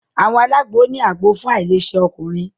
Àwọn alagbo ni àgbò fún ailese ọkùnrin.